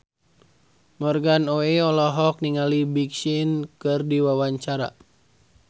Morgan Oey olohok ningali Big Sean keur diwawancara